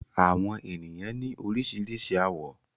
Àwọn ènìyàn ní oríṣiríṣi àwọ̀.